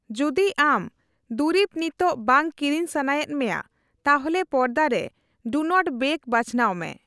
ᱡᱩᱫᱤ ᱟᱢ ᱫᱩᱨᱤᱵ ᱱᱤᱛᱚᱜ ᱵᱟᱝ ᱠᱤᱨᱤᱧ ᱥᱟᱱᱟ ᱮᱫ ᱢᱮᱭᱟ, ᱛᱟᱦᱞᱮ ᱯᱚᱨᱫᱟ ᱨᱮ 'ᱰᱩ ᱱᱚᱴ ᱵᱮᱜ' ᱵᱟᱪᱷᱱᱟᱣ ᱢᱮ ᱾